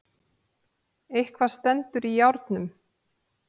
Eitthvað stendur í járnum